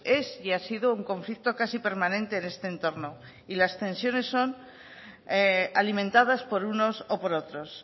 es y ha sido un conflicto casi permanente en este entorno y las tensiones son alimentadas por unos o por otros